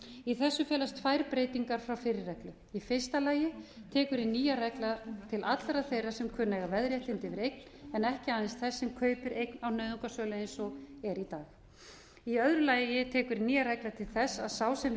í þessu felast tvær breytingar frá fyrri reglu í fyrsta lagi tekur hin nýja regla til allra þeirra sem kunna að eiga veðréttindi yfir eign en ekki aðeins þeir sem kaupir eign á nauðungarsölu eins og er í dag í öðru lagi tekur nýja reglan til þess að sá sem vill